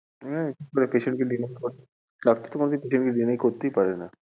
হ্যাঁ patient কে deny doctor কখনো patient কে deny করতেই পারে না।